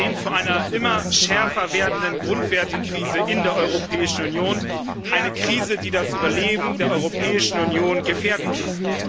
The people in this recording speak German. Wir stehen vor einer immer schärfer werdenden Grundwertekrise in der Europäischen Union, einer Krise, die das Überleben der Europäischen Union gefährden kann.